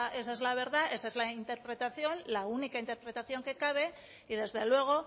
es la verdad esa es la interpretación la única interpretación que cabe y desde luego